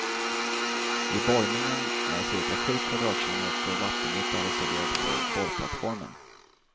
Vid borrningen är cirka sju kvadratkilometer vattenyta reserverad för borrplattformen.